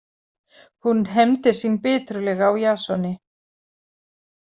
Hún hefndi sín biturlega á Jasoni.